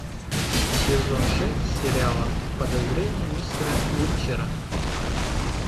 сезон шесть сериала подозрения мистера уичера